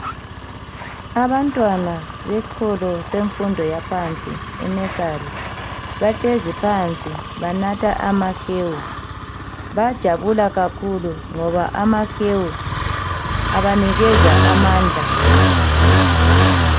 Abantwana besikolo semfundo yaphansi, inesari. Bahlezi phansi banatha amahewu. Bayajabula kakhulu ngoba amahewu abanikeza amandla.